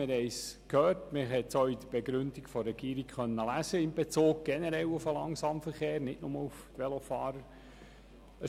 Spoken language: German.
Wir haben es gehört und konnten es auch in der Begründung der Regierung in Bezug auf den Langsamverkehr generell und nicht nur auf die Velofahrer lesen.